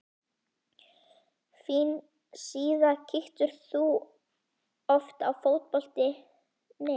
Fín síða Kíkir þú oft á Fótbolti.net?